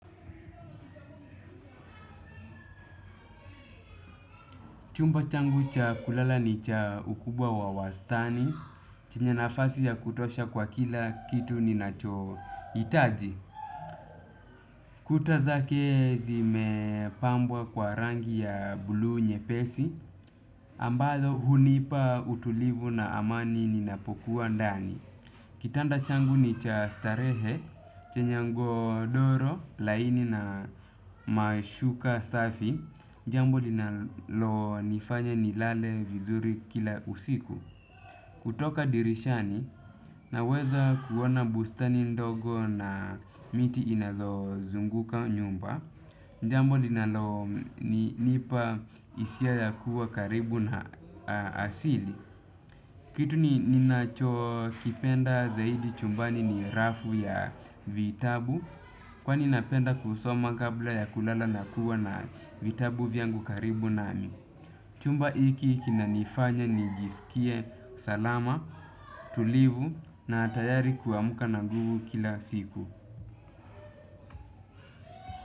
Chumba changu cha kulala ni cha ukubwa wa wastani, chenye nafasi ya kutosha kwa kila kitu ninachohitaji. Kuta zake zimepambwa kwa rangi ya bluu nyepesi, ambalo hunipa utulivu na amani ninapokuwa ndani. Kitanda changu ni cha starehe, chenye gondoro, laini na mashuka safi. N jambo linalonifanya nilale vizuri kila usiku. Kutoka dirishani, naweza kuona bustani ndogo na miti inalozunguka nyumba. N jambo linalonipa hisia ya kuwa karibu na asili. Kitu ninacho kipenda zaidi chumbani ni rafu ya vitabu kwani napenda kusoma kabla ya kulala na kuwa na vitabu vyangu karibu nami. Chumba hiki kinanifanya nijiskie salama, tulivu na tayari kuamka na nguvu kila siku.